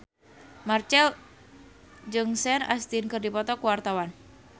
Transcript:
Marchell jeung Sean Astin keur dipoto ku wartawan